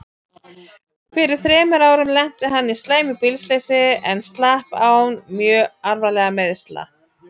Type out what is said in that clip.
Fyrir þremur árum lenti hann í slæmu bílslysi en slapp án mjög alvarlegra meiðsla.